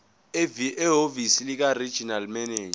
ehhovisi likaregional manager